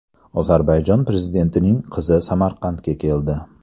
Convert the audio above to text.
Ozarbayjon prezidentining qizi Samarqandga keldi.